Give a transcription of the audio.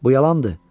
Bu yalandır.